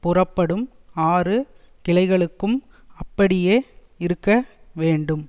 புறப்படும் ஆறு கிளைகளுக்கும் அப்படியே இருக்கவேண்டும்